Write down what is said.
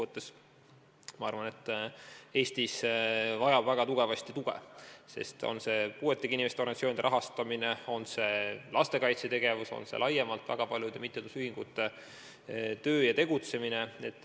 Ja ma arvan, et osa inimesi Eestis vajabki väga suurt tuge, on see puuetega inimeste organisatsioonide rahastamine, on see lastekaitsetegevus, on see laiemalt väga paljude mittetulundusühingute tegutsemine.